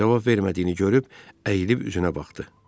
Cavab vermədiyini görüb, əyilib üzünə baxdı.